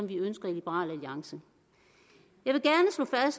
vi ønsker i liberal alliance